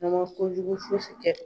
N'a ma kojugu fosi kɛ